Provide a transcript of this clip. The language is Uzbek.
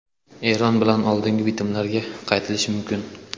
Eron bilan oldingi bitimlarga qaytilishi mumkin.